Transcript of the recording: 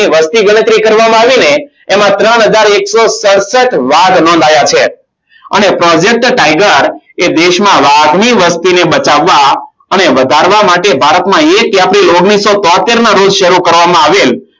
એમાં ત્રણ હજાર એકસો સડસઠ વાઘ નોંધાયા છે. અને project tiger એ દેશમાં વાઘની વસ્તીને બચાવવા અને વધારવા માટે ભારતમાં એક april ઓગણીસો તોતેર ના રોજ શરૂ કરવામાં આવેલ